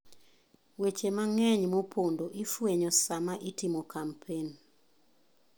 Weche mang'eny mopondo ifwenyo sama itimo kampen.